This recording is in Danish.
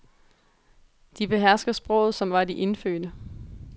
De behersker sproget som var de indfødte.